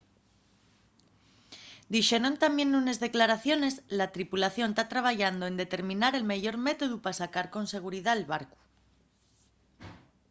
dixeron tamién nunes declaraciones la tripulación ta trabayando en determinar el meyor métodu pa sacar con seguridá’l barcu